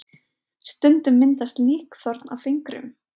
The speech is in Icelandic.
stundum myndast líkþorn á fingrum